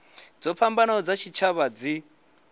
dzo fhambanaho dza tshitshavha dzi